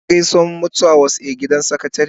Ka je Gausuwa mutu was a gidan sakatare?